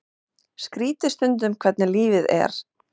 Skrítið stundum hvernig lífið er.